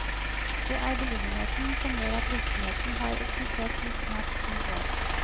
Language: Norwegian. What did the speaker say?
Det er beliggenheten som gjør at virksomheten har eksistert i snart ti år.